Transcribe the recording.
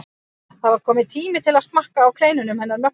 Það var kominn tími til að smakka á kleinunum hennar Möggu.